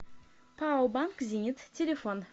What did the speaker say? пао банк зенит телефон